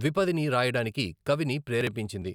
ద్విపదిని రాయడానికి కవిని ప్రేరేపించింది.